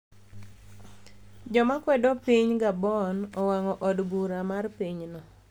Jo makwedo piniy Gaboni owanig'o od bura mar piny no